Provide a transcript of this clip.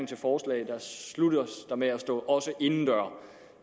til forslaget sluttes af med også indendøre